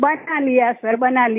बना लिया सर बना लिया